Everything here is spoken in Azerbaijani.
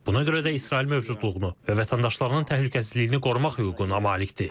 Buna görə də İsrail mövcudluğunu və vətəndaşlarının təhlükəsizliyini qorumaq hüququna malikdir.